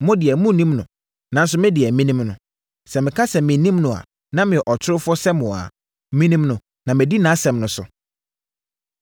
Mo deɛ, monnim no, nanso me deɛ, menim no. Sɛ meka sɛ mennim no a na meyɛ ɔtorofoɔ sɛ mo ara. Menim no na madi nʼasɛm nso so.